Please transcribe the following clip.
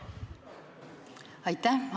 Aitäh!